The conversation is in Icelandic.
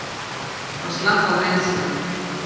Hann slapp án meiðsla.